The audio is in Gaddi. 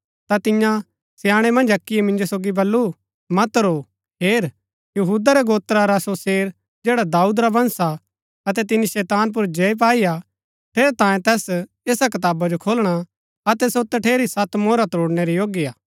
ता तियां स्याणै मन्ज अक्कीयै मिंजो सोगी बल्लू मत रो हेर यहूदा रै गोत्रा रा सो शेर जैडा दाऊद रा वंश हा अतै तिनी शैतान पुर जय पाई हा ठेरैतांये तैस ऐसा कताबा जो खोलणा अतै सो तठेरी सत मोहरा त्रोड़णै रै योग्य हा